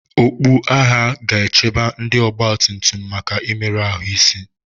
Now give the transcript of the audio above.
okpu agha ga-echebe ndị ọgbatumtum maka mmerụ ahụ isi